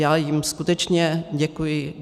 Já jim skutečně děkuji.